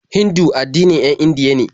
Hindu addinin 'yan Indiya be.